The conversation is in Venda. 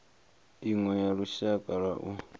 iṅwe ya lushaka lwa u